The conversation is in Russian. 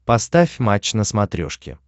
поставь матч на смотрешке